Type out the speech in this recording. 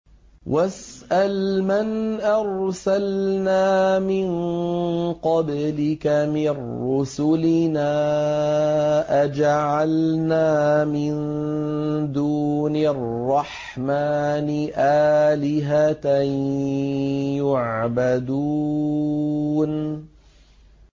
وَاسْأَلْ مَنْ أَرْسَلْنَا مِن قَبْلِكَ مِن رُّسُلِنَا أَجَعَلْنَا مِن دُونِ الرَّحْمَٰنِ آلِهَةً يُعْبَدُونَ